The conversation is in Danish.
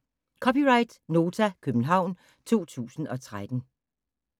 (c) Nota, København 2013